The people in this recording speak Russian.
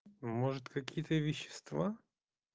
может какие-то вещества